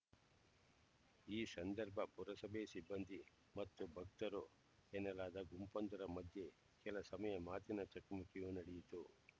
ಈ ಸಂದರ್ಭ ಪುರಸಭೆ ಸಿಬ್ಬಂದಿ ಮತ್ತು ಭಕ್ತರು ಎನ್ನಲಾದ ಗುಂಪೊಂದರ ಮಧ್ಯೆ ಕೆಲ ಸಮಯ ಮಾತಿನ ಚಕಮಕಿಯೂ ನಡೆಯಿತು